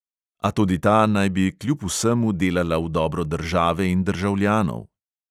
A tudi ta naj bi kljub vsemu delala v dobro države in državljanov.